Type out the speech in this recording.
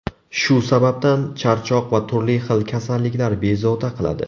Shu sababdan, charchoq va turli xil kasalliklar bezovta qiladi.